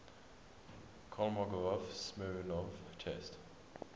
kolmogorov smirnov test